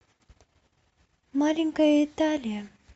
маленькая италия